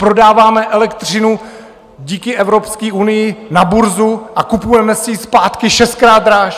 Prodáváme elektřinu díky Evropské unii na burzu a kupujeme si ji zpátky šestkrát dráž!